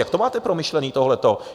Jak to máte promyšlené tohleto?